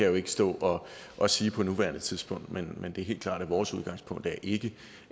jo ikke stå og sige på nuværende tidspunkt men men det er helt klart at vores udgangspunkt ikke